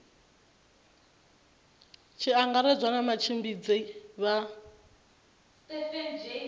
tshi angaredzwa na vhatshimbidzi vha